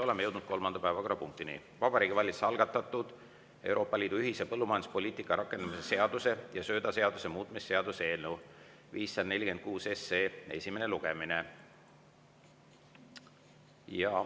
Oleme jõudnud kolmanda päevakorrapunktini: Vabariigi Valitsuse algatatud Euroopa Liidu ühise põllumajanduspoliitika rakendamise seaduse ja söödaseaduse muutmise seaduse eelnõu 546 esimene lugemine.